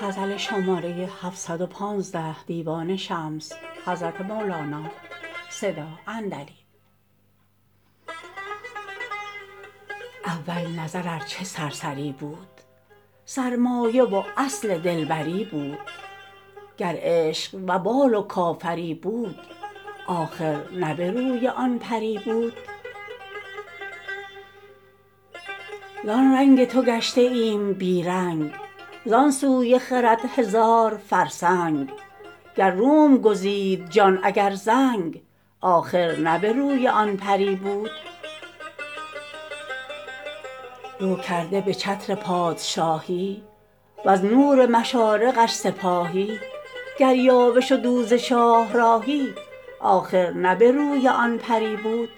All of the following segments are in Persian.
اول نظر ار چه سرسری بود سرمایه و اصل دلبری بود گر عشق وبال و کافری بود آخر نه به روی آن پری بود زان رنگ تو گشته ایم بی رنگ زان سوی خرد هزار فرسنگ گر روم گزید جان اگر زنگ آخر نه به روی آن پری بود رو کرده به چتر پادشاهی وز نور مشارقش سپاهی گر یاوه شد او ز شاهراهی آخر نه به روی آن پری بود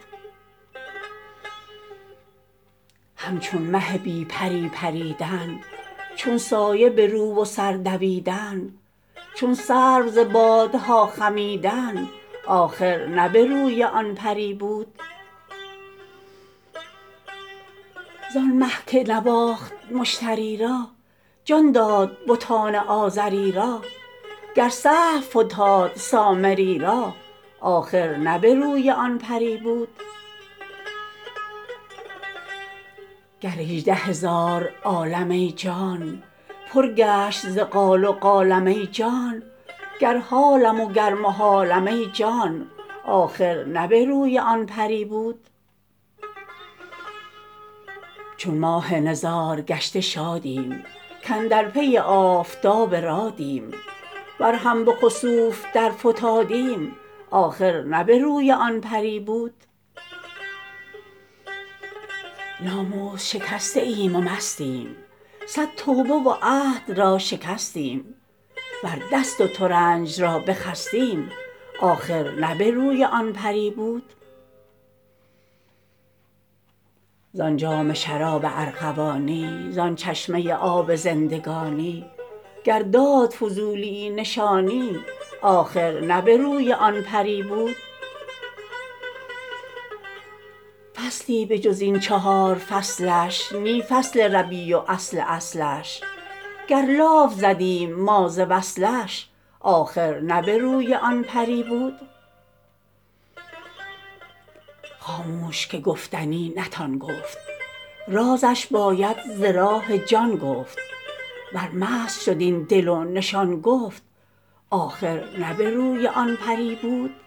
همچون مه بی پری پریدن چون سایه به رو و سر دویدن چون سرو ز بادها خمیدن آخر نه به روی آن پری بود زان مه که نواخت مشتری را جان داد بتان آزری را گر سهو فتاد سامری را آخر نه به روی آن پری بود گر هجده هزار عالم ای جان پر گشت ز قال و قالم ای جان گر حالم وگر محالم ای جان آخر نه به روی آن پری بود چون ماه نزارگشته شادیم کاندر پی آفتاب رادیم ور هم به خسوف درفتادیم آخر نه به روی آن پری بود ناموس شکسته ایم و مستیم صد توبه و عهد را شکستیم ور دست و ترنج را بخستیم آخر نه به روی آن پری بود زان جام شراب ارغوانی زان چشمه آب زندگانی گر داد فضولیی نشانی آخر نه به روی آن پری بود فصلی به جز این چهار فصلش نی فصل ربیع و اصل اصلش گر لاف زدیم ما ز وصلش آخر نه به روی آن پری بود خاموش که گفتنی نتان گفت رازش باید ز راه جان گفت ور مست شد این دل و نشان گفت آخر نه به روی آن پری بود